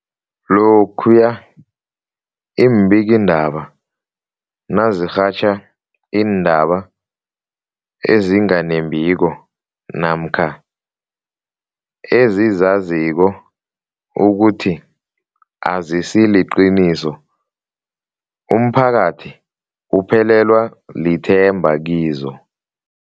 Lokhuya iimbikiindaba nazirhatjha iindaba ezinga nembiko namkha ezizaziko ukuthi azisiliqiniso, umphakathi uphelelwa lithemba kizo.